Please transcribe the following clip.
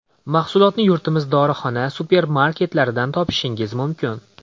Mahsulotni yurtimiz dorixona, supermarketlaridan topishingiz mumkin.